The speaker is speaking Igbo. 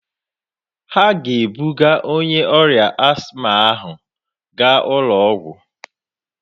Ha ga-ebuga onye ọrịa asthma ahụ gaa ụlọ ọgwụ